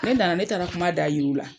Ne nana ,ne taara kuma da yira olu la.